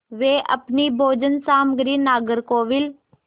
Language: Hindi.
वे अपनी भोजन सामग्री नागरकोविल